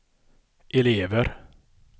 elever